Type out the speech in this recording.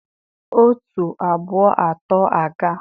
otu, abụọ, atọ aga!